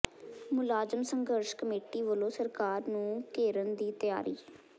ਮੁਲਾਜ਼ਮ ਸੰਘਰਸ਼ ਕਮੇਟੀ ਵੱਲੋਂ ਸਰਕਾਰ ਨੂੰ ਘੇਰਨ ਦੀ ਤਿਆਰੀ